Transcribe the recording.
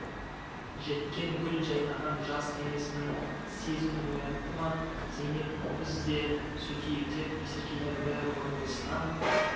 жеткен гүл жайнаған жас денесінің сезімін оятты ма зейнеп біз де сөйтейік деп есіркегенді бұрынғысынан